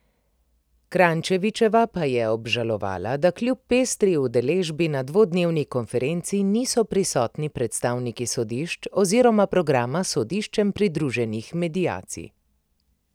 Kranjčevičeva pa je obžalovala, da kljub pestri udeležbi na dvodnevni konferenci niso prisotni predstavniki sodišč oziroma programa sodiščem pridruženih mediacij.